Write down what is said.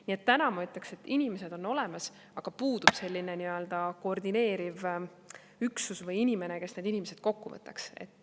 Nii et täna ma ütleks, et inimesed on olemas, aga puudub selline koordineeriv üksus või inimene, kes need inimesed kokku võtaks.